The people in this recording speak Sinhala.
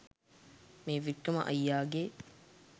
මේ වික්‍රම අයියාගේ